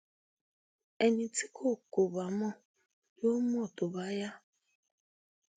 ẹni tí kò kò bá mọ yóò mọ tó bá yá